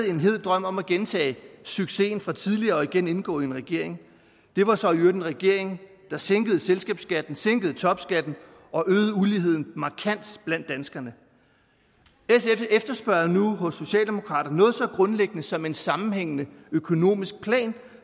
en hed drøm om at gentage succesen fra tidligere og igen indgå i en regering det var så i øvrigt en regering der sænkede selskabsskatten sænkede topskatten og øgede uligheden markant blandt danskerne sf efterspørger nu hos socialdemokraterne noget så grundlæggende som en sammenhængende økonomisk plan